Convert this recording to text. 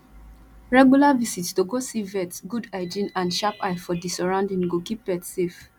regular visit to go see vet good hygiene and sharp eye for di sorrounding go keep pet safe